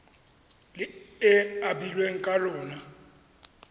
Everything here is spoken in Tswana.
le e abilweng ka lona